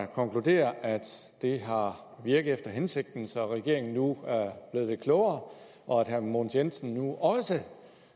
konkludere at det har virket efter hensigten så regeringen nu er blevet lidt klogere og at herre mogens jensen nu også